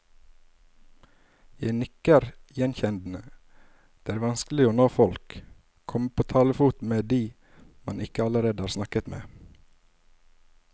Jeg nikker gjenkjennende, det er vanskelig å nå folk, komme på talefot med de man ikke allerede har snakket med.